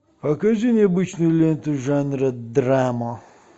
покажи необычную ленту жанра драма